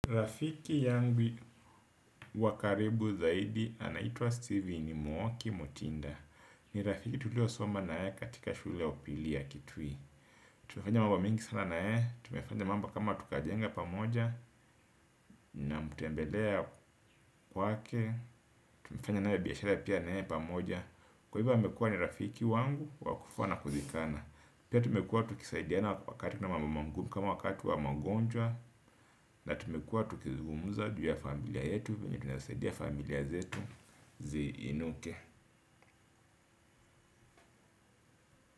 Rafiki yangu wa karibu zaidi anaitwa Steven Mwoki Mutinda. Ni rafiki tulio soma na ye katika shule ya upili ya kitui. Tumefanya mambo mingi sana na yeye, tumefanya mambo kama tukajenga pamoja. Namtembelea kwake, tumefanya na yeye biashara pia na yeye pamoja. Kwa hivyo amekua ni rafiki wangu wa kufa na kuzikana. Pia tumekuwa tukisaidiana wakati na mambo magumu kama wakati wa magonjwa. Na tumekuwa tukizugumuza juu ya familia yetu. Vile tunasaidia familia zetu zi inuke.